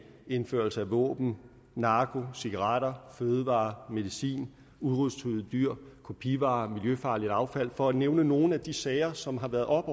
indførelse af våben narko cigaretter fødevarer medicin udryddelsestruede dyr kopivarer miljøfarligt affald for at nævne nogle af de sager som har været oppe